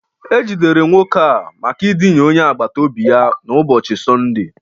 E jidere nwoke a maka idina onye agbata obi ya n'ụbọchị Sọnde